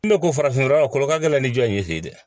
N bɛ ko farafin fura lɔ ka gɛlɛn ni jɔ ye fe ye dɛ